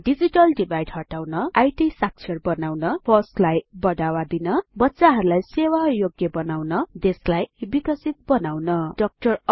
digital divide हटाउन बच्चाहरुलाई इत साक्षर बनाउन फोस लाई बढावा दिन बच्चाहरुलाई सेवा योग्य बनाउन देशलाई विकसित बनाउन डीआर